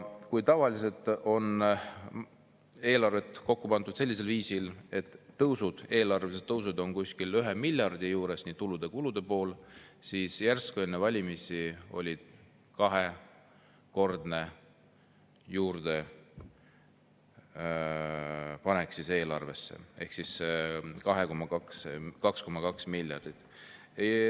Kui tavaliselt on eelarvet kokku pandud sellisel viisil, et eelarve on kuskil 1 miljardi juures, nii tulude kui ka kulude pool, siis enne valimisi oli järsku kahekordne juurdepanek ehk 2,2 miljardit.